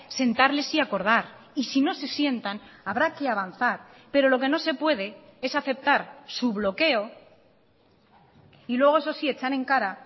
sentarles y acordar y si no se sientan habrá que avanzar pero lo que no se puede es aceptar su bloqueo y luego eso sí echan en cara